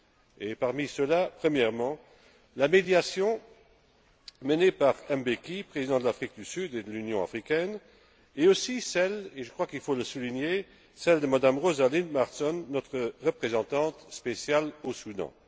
Et parmi ceux là, premièrement la médiation menée par Thabo Mbeki, président de l'Afrique du Sud et de l'Union africaine, et aussi celle et je crois qu'il faut le souligner de Mme Rosalind Marsden, notre représentante spéciale au Soudan.